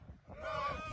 Rusiya!